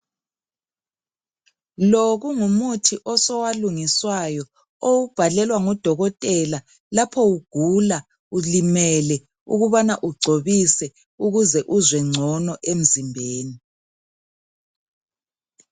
Lo kungumuthi osowalungiswayo owubhalelwa ngudokotela lapho ugula ulimele ukubana ugcobise ukuze uzwe ngcono emzimbeni.